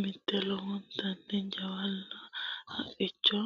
mitte lowontanni jawlal haqicho